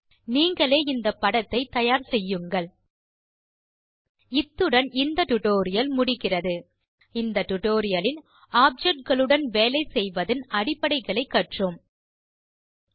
நீங்களே இந்த படத்தை தயார் செய்யுங்கள் இத்துடன் இந்த டிராவ் டியூட்டோரியல் முடிகிறது இந்த tutorialலில் ஆப்ஜெக்ட் களுடன் வேலை செய்வதன் அடிப்படைகளை கற்றோம்